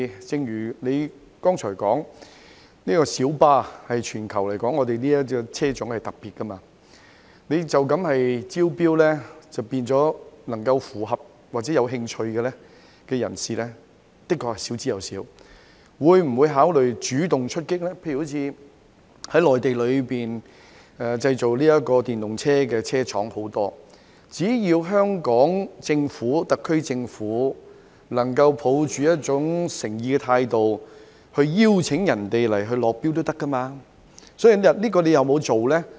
正如局長剛才所說，小巴在全球來說是特別的車種，透過一般招標，符合要求或有興趣的人士的確少之又少，當局會否考慮主動出擊，例如在內地有很多製造電動車的車廠，只要特區政府能夠抱持誠意的態度，也可以邀請內地廠商來港落標，當局有否這樣做呢？